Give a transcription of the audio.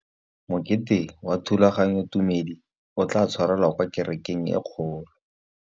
Mokete wa thulaganyôtumêdi o tla tshwarelwa kwa kerekeng e kgolo.